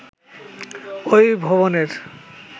ঐ ভবনের